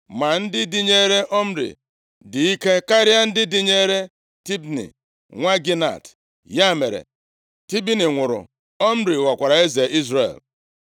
Ma ndị dịnyeere Omri dị ike karịa ndị dịnyeere Tibni, nwa Ginat. Ya mere, Tibni nwụrụ. Omri ghọkwara eze Izrel.